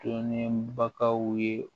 Dɔnnen bakaw ye